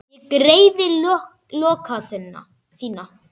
Ég greiði lokka þína.